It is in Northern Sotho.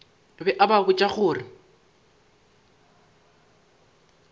be a ba botša gore